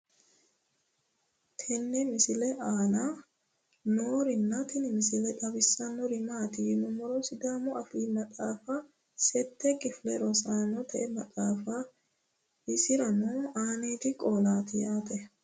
tenne misile aana noorina tini misile xawissannori maati yinummoro sidaamu affi maxaaffi sette kiffille rosaannotte maxxaffatti isiranno aaniddi qoollatti yaatte